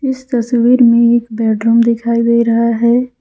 इस तस्वीर में एक बेडरूम दिखाई दे रहा है।